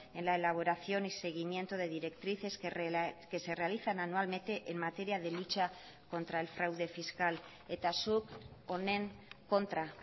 en la elaboración y seguimiento de directrices que se realizan anualmente en materia de lucha contra el fraude fiscal eta zuk honen kontra